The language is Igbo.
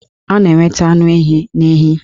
A na-enweta anụ ehi n'ehi